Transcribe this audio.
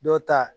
Dɔw ta